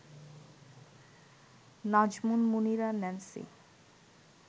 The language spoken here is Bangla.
নাজমুন মুনিরা ন্যান্সি